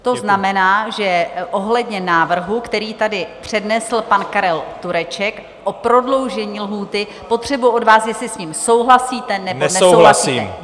To znamená, že ohledně návrhu, který tady přednesl pan Karel Tureček o prodloužení lhůty, potřebuji od vás, jestli s tím souhlasíte nebo nesouhlasíte.